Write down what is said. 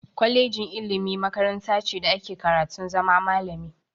Kolejin ilimi makaranta ce da ake karatun zama malami.